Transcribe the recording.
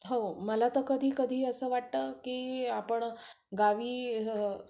हो, मला तर कधी कधी असं वाटतं की आपण गावी